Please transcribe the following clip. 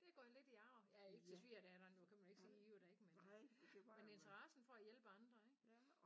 Det er gået lidt i arv ja ikke til svigerdatteren jo kan man ikke sige jo da ik men øh men interessen for at hjælpe andre ik